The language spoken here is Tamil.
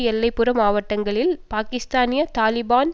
எல்லை புற மாவட்டங்களில் பாக்கிஸ்தானிய தாலிபான்